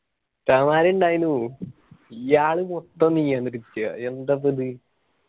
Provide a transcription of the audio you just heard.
ഉസ്താദ്മാർ ഇണ്ടായിനു ഇയ്യാൾ മൊത്തം നിയന്ത്രിക്ക. എന്താപ്പോ ഇത്?